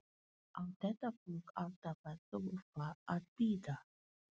Á þetta fólk alltaf að þurfa að bíða?